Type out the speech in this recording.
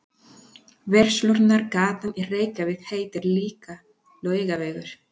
Verslunargatan í Reykjavík heitir líka Laugavegur.